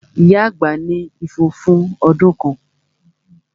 Ìyá àgbà ní ifo fún ọdún kan